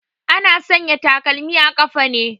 Ana sanya takalmi a ƙafa ne